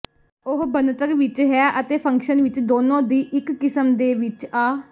ਉਹ ਬਣਤਰ ਵਿਚ ਹੈ ਅਤੇ ਫੰਕਸ਼ਨ ਵਿੱਚ ਦੋਨੋ ਦੀ ਇੱਕ ਕਿਸਮ ਦੇ ਵਿੱਚ ਆ